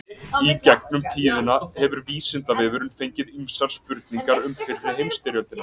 Í gegnum tíðina hefur Vísindavefurinn fengið ýmsar spurningar um fyrri heimsstyrjöldina.